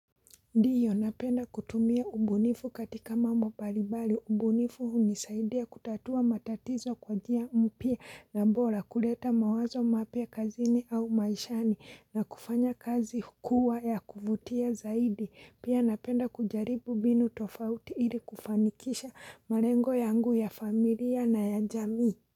Ndiyo napenda kutumia ubunifu katika mambo paribali. Ubunifu hunisaidia kutatua matatizo kwa njia mpya na bora kuleta mawazo mapya kazini au maishani na kufanya kazi hukua ya kuvutia zaidi. Pia napenda kujaribu mbinu tofauti ili kufanikisha malengo yangu ya familia na ya jamii.